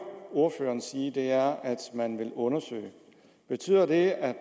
ordføreren sige er at man vil undersøge betyder det at